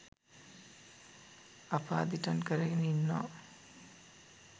අප අදිටන් කරගෙන ඉන්නවා